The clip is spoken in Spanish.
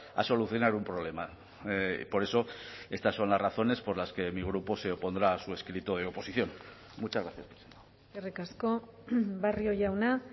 a solucionar un problema por eso estas son las razones por las que mi grupo se opondrá a su escrito de oposición muchas gracias eskerrik asko barrio jauna